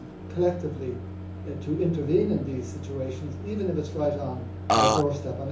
collectively to intervene in these situations, even if it is right on our doorstep.